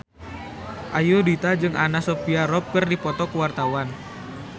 Ayudhita jeung Anna Sophia Robb keur dipoto ku wartawan